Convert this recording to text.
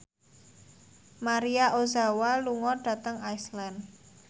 Maria Ozawa lunga dhateng Iceland